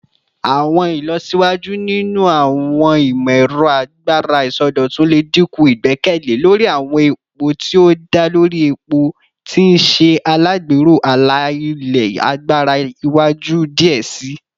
Awọn ilọsiwaju ninu awọn imọ-ẹrọ agbara isọdọtun le dinku igbẹkẹle lori awọn epo ti o da lori epo, ti n ṣe alagbero ala-ilẹ agbara iwaju diẹ sii.